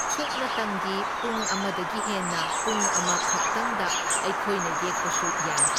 ꯁꯨꯞꯅꯇꯪꯒꯤ ꯄꯨꯡ ꯑꯃꯗꯒꯤ ꯍꯦꯟꯅ ꯄꯨꯡ ꯑꯃ ꯈꯛꯇꯪꯗ ꯑꯩꯈꯣꯏꯅ ꯌꯦꯛꯄꯁꯨ ꯌꯥꯏ꯫